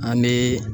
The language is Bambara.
An bɛ